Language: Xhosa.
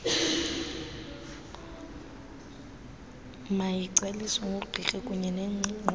mayigcwaliswe ngugqirha kunyenengxelo